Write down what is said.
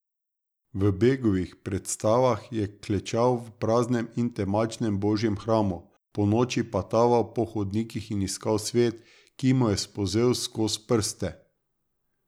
V Begovih predstavah je klečal v praznem in temačnem božjem hramu, ponoči pa taval po hodnikih in iskal svet, ki mu je spolzel skoz prste.